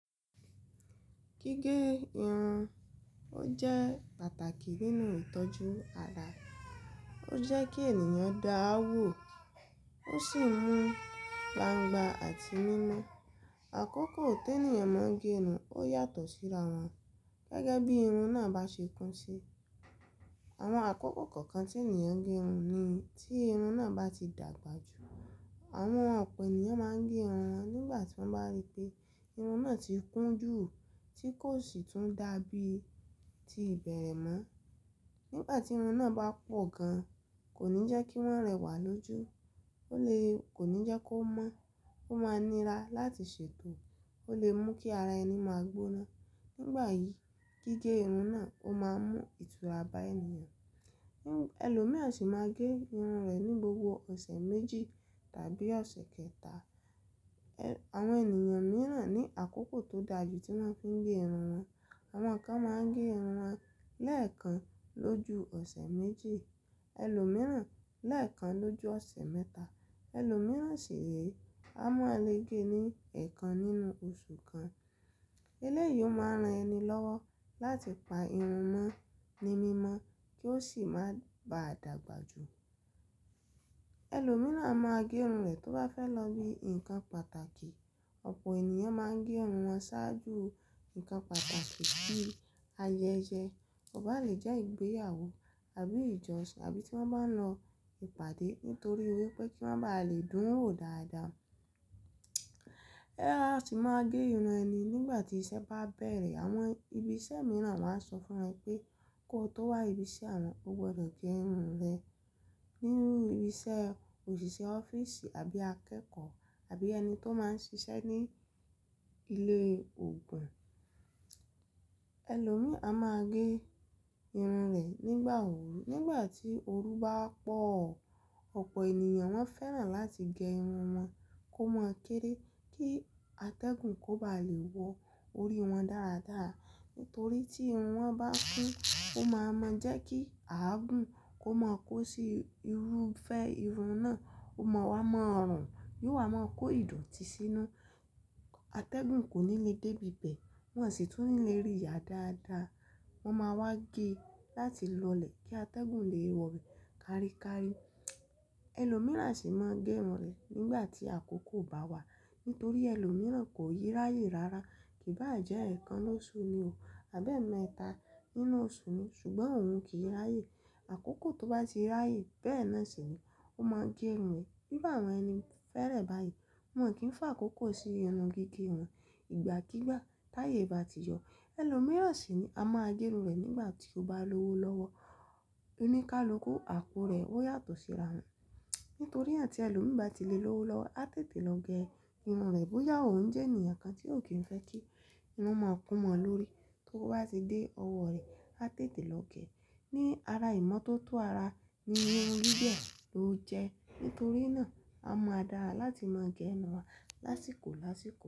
Gígé irun ó jẹ́ pàtàkì nínú ìtọ́jú ara. Ó jẹ́ kí ènìyàn dàa wò, ó sì ń mú gbangba àti mímọ́. Àkókò tí ènìyàn máa ń gé irun ó yàtọ̀ síra wọn gẹ́gẹ́ bí irun náà bá ṣe kún sí. Àwọn àkókò kọ̀ọ̀kan tí ènìyàn ń gé irun ni tí irun náà bá ti dàgbà jù. Àwọn ọ̀pọ̀ ènìyàn máa ń gé irun wọn nígbà tí wọ́n bá rí pé irun náà ti kún jù tí kò sì tún dàbí ti ìbẹ̀rẹ̀ mọ́. Nígbà tí irun náà bá pọ̀ gan, kò ní jẹ́ kí wọ́n rẹwà lójú, o le kò ní jẹ́ kó mọ́, ó máa nira láti ṣètò, ó lè mú kí ara ẹni máa gbóná. Nígbà yìí gígé irun náà ó máa mú ìtura bá ènìyàn. Ẹ̀lọ́míràn sì máa ń gé irun rẹ̀ ní gbogbo ọ̀sẹ̀ méje tàbí ọ̀sẹ̀ kẹta. Àwọn ènìyàn mìíràn ní àkókò tó dà jù tí wọ́n fi ń gé irun wọn. Àwọn kan máa ń gé irun wọn lẹ́ẹ̀kan lójú ọ̀sẹ̀ méje, ẹlòmíràn lẹ́ẹ̀kan lójú ọ̀sẹ̀ mẹ́ta, ẹlòmíràn sì re, a maa lẹ́ gé ni ẹ̀ẹ̀kan nínú oṣù kan. Eléyìí ó máa ran ẹni lọ́wọ́ láti pa irun mọ́ ní mímọ́ kí ó sì má baa dàgbà jù. Ẹ̀lọ́míràn a máa gé irun rẹ̀ tó bá fẹ́ lọ bí ǹnkan pàtàkì. Ọ̀pọ̀ ènìyàn máa ń gé irun wọn ṣáájú ǹnkan pàtàkì bíi ayẹyẹ, kọ ba lè jẹ́ ìgbéyàwó àbí ìjọsìn, àbí tí wọ́n bá ń lọ ìpàdé nítorí wípé kí wọ́n bá lè dún wò dáadáa. Boya a sì máa gé irun ẹni nígbà tí iṣẹ́ bá bẹ̀rẹ̀. Àwọn ibi iṣẹ́ mìíràn máa ń sọ fún ẹ pé kó tó wá ibi iṣẹ́ awọn, o gbọdọ̀ gé irun rẹ. Nínú ibi iṣẹ́, òṣìṣẹ́ ọ́fíìsì àbí akẹ́kọ̀ọ́ àbí ẹni tó máa ń ṣiṣẹ́ ní ilé òogùn. Ẹ̀lọ́míi a máa gé irun rẹ̀ nígbà òru, nígbà tí òru bá pọ̀. Ọ̀pọ̀ ènìyàn wọ́n fẹ́ràn láti gé irun wọn kó máa kéré kí atẹ́gùn kó bá lè wọ orí wọn dáradára. Nítorí tí irun wọn bá kún, ó máa mọ jẹ́ kí àgùǹ kó máa kó sí irúfẹ́ irun náà, ó máa wá mọ́ rùn, yóò wá máa kó ìdotì sí inú. Atẹ́gùn kò ní lè dé ibi bẹ̀, wọn sì tún lè rí ya dáadáa. Wọ́n máa wá gé láti lọlẹ̀ kí atẹ́gùn lè wọ̀ bẹ̀ káríkári. Ẹ̀lọ́míràn a sì máa ń gé irun rẹ̀ nígbà tí àkókò bá wà. Nítorí ẹlòmíràn kò ni ráyè rárá, kì bá à jẹ́ ẹ̀ẹ̀kan lóṣù ni o, àbẹ́ẹ̀mẹta nínú oṣù ni ṣùgbọ́n òun kì í ráyè. Àkókò tó bá sì ráyè bẹ́ẹ̀ náà sì ni ó máa ń gé irun rẹ̀. Iru àwọn ẹni fẹ́rẹ̀ báyìí, wọn kì í fà kókó sí irun gígé wọn. Ìgbà kigbà táyè bá ti yọ. Ẹ̀lọ́míràn sì re a máa gé irun rẹ̀ nígbà tí ó bá lówó lọ́wọ́. Oníkálukú, àpo rẹ̀ ó yàtọ̀ síra wọn. Nítorina tí ẹlòmí bá ti lè lówó lọ́wọ́, a tètè lọ gé irun rẹ̀ bóyá òun jẹ́ ènìyàn kan tí ò kí ń fẹ́ kí irun o máa kún mó lórí. Tó bá ti dé ọwọ́ rẹ̀, a tètè lọ gé. Ni ara ìmọ́ tó tó ara ni irun gígẹ ló jẹ́. Nítorí náà a mọ̀ dára láti máa gé irun wa lásìkò lásìkò.